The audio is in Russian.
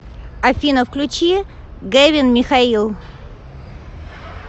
афина включи гэвин михаил